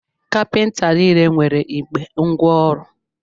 Kapịnta niile nwere igbe ngwa ọrụ.